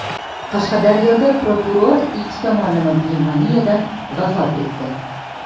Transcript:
Qashqadaryoda prokuror ikki tomonlama pnevmoniyadan vafot etdi.